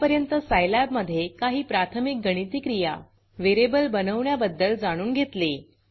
आत्तापर्यंत Scilabसाईलॅब मधे काही प्राथमिक गणिती क्रिया व्हेरिएबल बनवण्याबद्दल जाणून घेतले